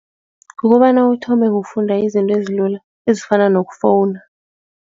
Kukobana uthome ngokufunda izinto ezilula ezifana nokufowuna.